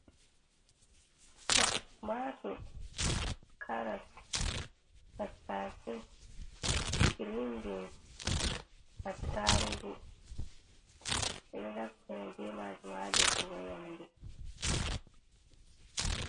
Tumatur, karas, tattaase, grin bins, attarugu. Ɓe ɗo naftira be maajum, ha defigo nyamdu.